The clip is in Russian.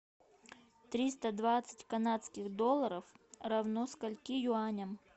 триста двадцать канадских долларов равно скольки юаням